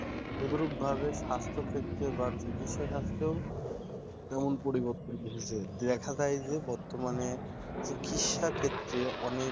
তদরূপভাবে স্বাস্থ ক্ষেত্রে বা চিকিৎসা শাস্ত্র এমন পরিবর্তন এসেছে, দেখা যায় বর্তমানে চিকিৎসা ক্ষেত্রে অনেক